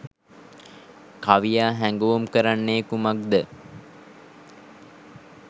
කවියා හැඟවුම් කරන්නේ කුමක්ද?